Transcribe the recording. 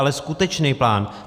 Ale skutečnej plán.